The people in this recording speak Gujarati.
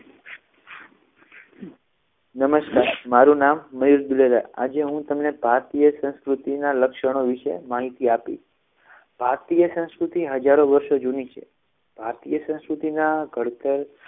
નમસ્કાર મારું નામ મયુર ધ્વેરા આજે હું તમને ભારતીય સંસ્કૃતિના લક્ષણો વિશે માહિતી આપી ભારતીય સાંસ્કૃતિ હજારો વર્ષો જૂની છે ભારતીય સંસ્કૃતિના ઘડતર